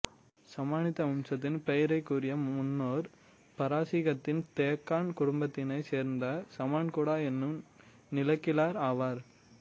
சமானித்து வம்சத்தின் பெயரிக்குரிய முன்னோர் பாரசீகத்தின் தேக்கான் குடும்பத்தினைச் சேர்ந்த சமான் குடா எனும் நிலக்கிழார் ஆவார்